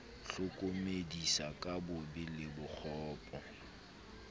hlokomedisa ka bobe le bokgopo